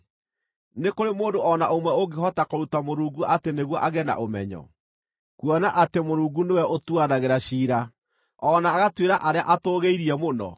“Nĩ kũrĩ mũndũ o na ũmwe ũngĩhota kũruta Mũrungu atĩ nĩguo agĩe na ũmenyo, kuona atĩ Mũrungu nĩwe ũtuanagĩra ciira, o na agatuĩra arĩa atũũgĩirie mũno?